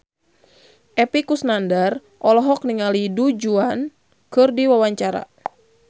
Epy Kusnandar olohok ningali Du Juan keur diwawancara